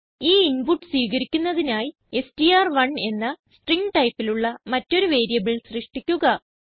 ഈ ഇൻപുട്ട് സ്വീകരിക്കുന്നതിനായി എസ്ടിആർ1 എന്ന സ്ട്രിംഗ് ടൈപ്പിലുള്ള മറ്റൊരു വേരിയബിൾ സൃഷ്ടിക്കുക